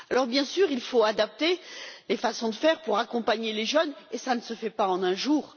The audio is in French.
Alors, bien sûr, il faut adapter les façons de faire pour accompagner les jeunes, et cela ne se fait pas en un jour.